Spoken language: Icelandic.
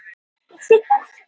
Þverreft var yfir dyrnar.